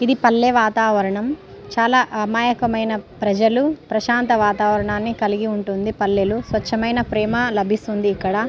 ఇది పల్లె వాతావరణం చాలా అమాయకమైన ప్రజలు ప్రశాంత వాతావరణమే కలిగి ఉంటుంది. పల్లెలు స్వచ్ఛమైన ప్రేమ లభిస్తుంది ఇక్కడ.